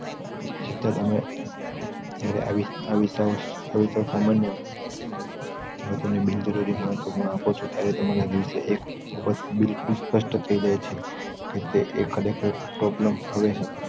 છતાં તમે આવી~આવી સામાન્ય લોકોને બિનજરૂરી મહત્વ આપો છો ત્યારે તમારા દિવસે એક બિલ્કુલ પાસ્ટ થાયી જાય છે કે તે ખરે ખર problem હવે છે